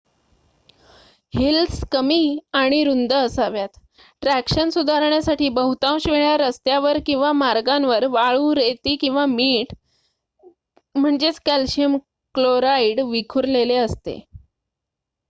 Heels कमी आणि रुंद असाव्यात. ट्रॅक्शन सुधारण्यासाठी बहुतांश वेळा रस्त्यांवर किंवा मार्गांवर वाळू रेती किंवा मीठ कॅल्शियम क्लोराईड विखुरलेले असते